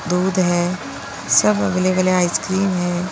दूध है सब अवेलेबल है आइसक्रीम है।